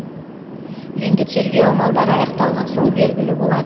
енді тергеу амалдары аяқталған соң белгілі болады